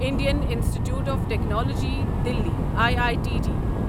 Indian Institute of Technology Delhi I I T D